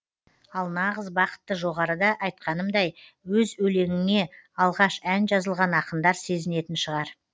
ал нағыз бақытты жоғарыда айтқанымдай өз өлеңіңе алғаш ән жазылған ақындар сезінетін шығар